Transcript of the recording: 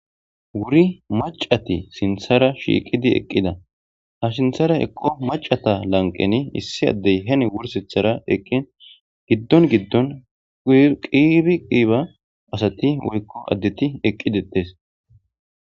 wuri macati sinthara shiiqidi eqqida ha sinthara eqqo macata lanqeni issi addey hen wursithara eqqin giddon giddon qibi qiiba asati woykko addeti eqqidetes